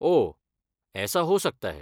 ओह, ऐसा हो सकता है।